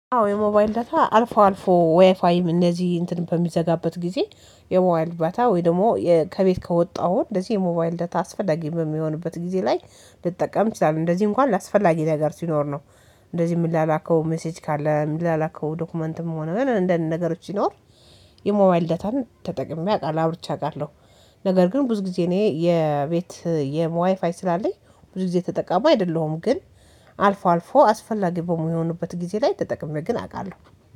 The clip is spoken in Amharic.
አዎ የሞባይል ዳታ አልፎ አልፎ ዋይፋይም እነዚህ እንትን በሚዘጋበት ጊዜ የሞባይል ዳታ ወይ ደግሞ ከቤት ከወጣው እንደዚህ የሞባይል ዳታ አስፈላጊ በሚሆንበት ጊዜ ላይ ልጠቀም እችላለሁ እንደዚህ እንኳን ለአስፈላጊ ነገር ሲኖር ነው። እንደዚህ ምላላከው ሜሴጅ ካለ ምላላከው ዶክመንትም ሆነ ምን እንደነገሮች ሲኖር። የሞባይል ዳታን ተጠቅሜ አውቃለሁ አብርቼ አውቃለሁ። ነገር ግን ብዙ ጊዜ እኔ የቤት ዋይፋይ ስላለኝ ብዙ ጊዜ ተጠቃሚ አይደለሁም። ግን አልፎ አልፎ አስፈላጊ በሚሆኑበት ጊዜ ላይ ተጠቅሜ ግን አውቃለሁ።